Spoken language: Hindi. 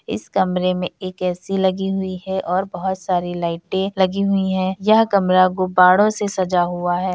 इस कमरे में एक ए_सी लगी हुई है और बहुत सारी लाइटें लगी हुई हैं यह कमरा गुब्‍बारों से सजा हुआ है।